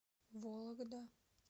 вологда